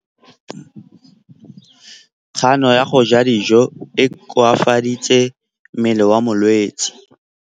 Kganô ya go ja dijo e koafaditse mmele wa molwetse.